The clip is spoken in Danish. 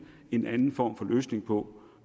en anden form for løsning på